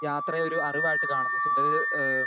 speaker 2 യാത്രയെ ഒരു അറിവ് ആയിട്ട് കാണുന്നു ചിലര് അഹ്